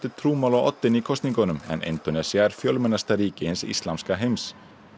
trúmál á oddinn í kosningunum en Indónesía er fjölmennasta ríki hins íslamska heims